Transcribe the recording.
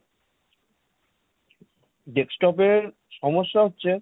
desktop এর সমস্যা হচ্ছে,